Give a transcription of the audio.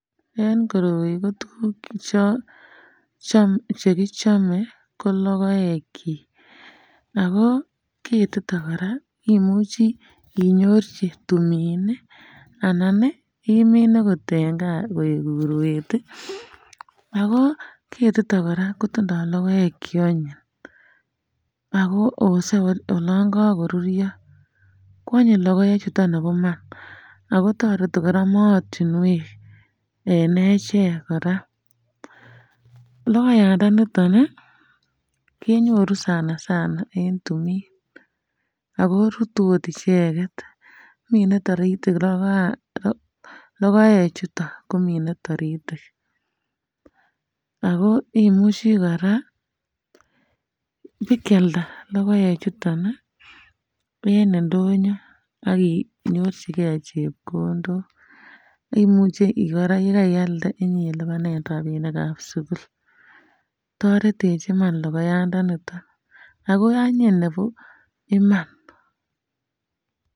En koroi tuguk che um chekichame ko logoekyik ago ketito koraa imuchi inyorchi tumin anan imin okot en kaa koek urwet, ago ketito koraa kotindo logoek cheanyi ago ose oloon kokorurya koanyin logoek chuton nebo Iman ago toreti mootinwek en echek koraa logoyandaniton kenyor sana sana en tumin ago rutu okot icheket minee toritik logoyandan logoek chuton komine taritik ,ago imuche koraa bikealda logoek chuton en indonyo ak inyorjige chepkondok imuche koraaa yekankealda ilubanen rapinik ab sukul toretech Iman logoyandanito ago anyiny Iman.